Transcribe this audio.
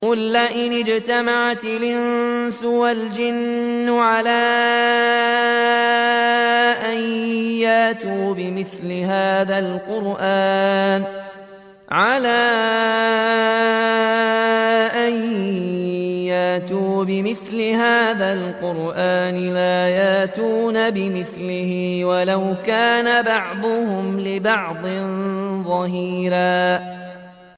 قُل لَّئِنِ اجْتَمَعَتِ الْإِنسُ وَالْجِنُّ عَلَىٰ أَن يَأْتُوا بِمِثْلِ هَٰذَا الْقُرْآنِ لَا يَأْتُونَ بِمِثْلِهِ وَلَوْ كَانَ بَعْضُهُمْ لِبَعْضٍ ظَهِيرًا